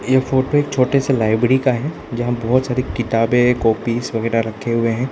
ये फोटो एक छोटे से लाइब्रेरी का है जहां बहोत सारी किताबें कॉपी वगैरा रखे हुए हैं।